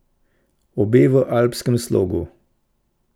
Obe v alpskem slogu.